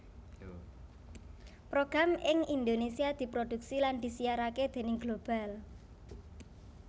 Program ing Indonesia diproduksi lan disiarake déning Global